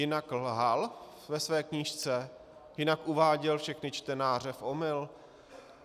Jinak lhal ve své knížce, jinak uváděl všechny čtenáře v omyl.